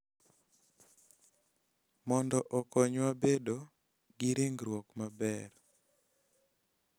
Mondo okonywa bedo gi ringruok maber.